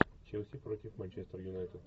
челси против манчестер юнайтед